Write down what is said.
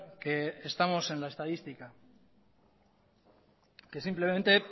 que estamos en la estadística que simplemente